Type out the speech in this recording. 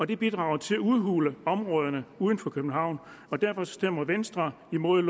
det bidrager til at udhule områderne uden for københavn derfor stemmer venstre imod